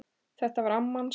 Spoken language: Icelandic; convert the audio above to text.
Þetta var amma hans